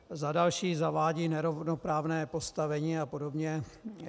Za třetí zavádí nerovnoprávné postavení a podobně.